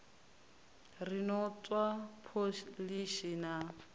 ri no tswa pholishi na